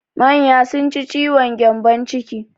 Manya sun ci ciwon gyambon ciki.